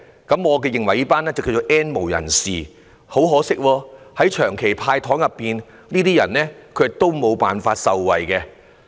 他們俗稱為 "N 無人士"，在長期的"派糖"措施中，很可惜他們都無法受惠。